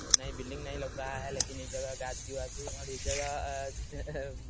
नयी बिल्डिंग नहीं लौक रहा है लेकिन इ जगह गाछी-वाछी और इस जगह